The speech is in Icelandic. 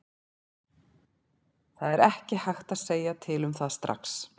Það er ekki hægt að segja til um það strax.